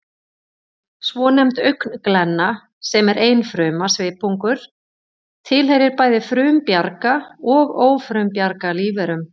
Svonefnd augnglenna, sem er einfruma svipungur, tilheyrir bæði frumbjarga og ófrumbjarga lífverum